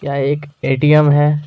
यह एक A. T. M. है।